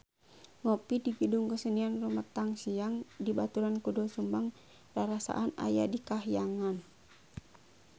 Ngopi di Gedung Kesenian Rumetang Siang dibaturan ku Doel Sumbang rarasaan aya di kahyangan